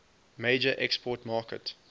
major export market